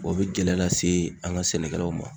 O be gɛlɛya lase an ka sɛnɛkɛlaw ma.